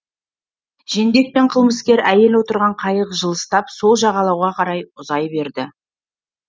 жендет пен қылмыскер әйел отырған қайық жылыстап сол жағалауға қарай ұзай берді